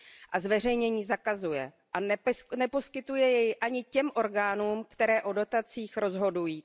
a zveřejnění zakazuje a neposkytuje jej ani těm orgánům, které o dotacích rozhodují.